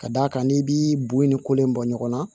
Ka d'a kan n'i b'i bo i ni kolon bɔ ɲɔgɔn na